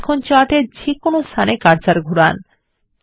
এখন চার্ট এর যে কোন স্থানে কার্সার ঘুরান